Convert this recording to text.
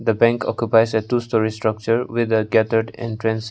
the bank occupies a two storey structure with a gathered entrance.